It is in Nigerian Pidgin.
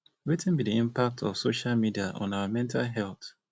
wetin be di impact of social media on our mental health